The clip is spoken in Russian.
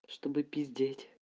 чтобы пиздеть